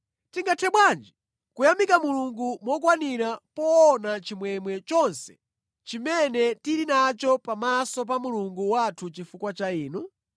Tingathe bwanji kuyamika Mulungu mokwanira poona chimwemwe chonse chimene tili nacho pamaso pa Mulungu wathu chifukwa cha inu?